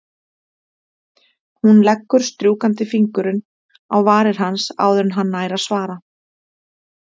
Hún leggur strjúkandi fingurinn á varir hans áður en hann nær að svara.